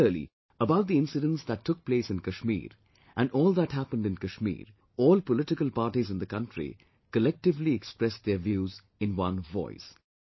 Similarly, about the incidents that took place in Kashmir and all that happened in Kashmir, all political parties in the country collectively expressed their views in one voice